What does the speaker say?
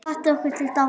Hvatti okkur til dáða.